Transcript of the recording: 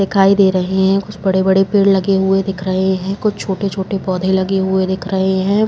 दिखाई दे रहे हैं। कुछ बड़े-बड़े पेड़ लगे हुए दिख रहे हैं। कुछ छोटे-छोटे पोधे लगे हुए दिख रहे हैं।